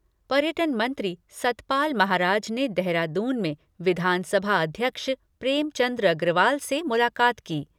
पर्यटन मंत्री सतपाल महाराज ने देहरादून में विधानसभा अध्यक्ष प्रेमचंद अग्रवाल से मुलाकात की।